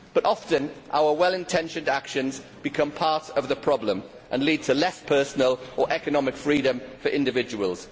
But often our well intentioned actions become part of the problem and lead to less personal or economic freedom for individuals.